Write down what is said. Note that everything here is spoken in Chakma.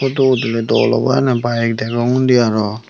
photo udile dol obo ene bike degong undi aro.